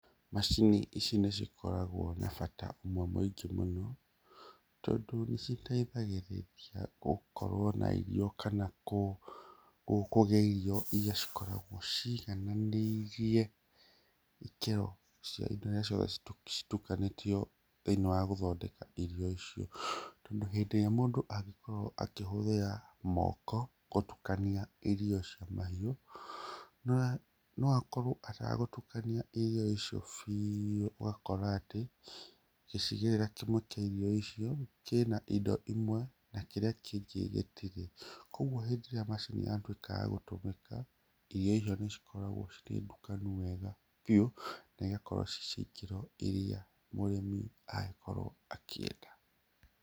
Macini ici nĩ cikoragwo na bata umwe mũingĩ mũno tondũ nĩciteithagĩrĩia gũkorwo na irio kana kũgĩa irio iria cikoragwo cigananĩirie ikĩro cia indo iria ciothe citukanĩtio thĩ-inĩ wa gũthondeka irio icio. Tondũ hĩndĩ ĩrĩa mũndũ angĩkorwo akĩhũthĩra moko gũtukania irio cia mahiũ, no akorwo atagũtukania irio icio biũ. Ũgakora ati, gĩcigĩrĩra kĩmwe kĩa irio icio kĩna indo imwe na kĩrĩa kĩngĩ gĩtirĩ. Kogwo hĩndĩ ĩrĩa macini yatwĩka ya gũtũmĩka, irio icio nĩcikoragwo cirĩ ndukanu wega biũ na igakorwo ciĩ cia ikĩro iria mũrĩmi angĩkorwo akĩenda.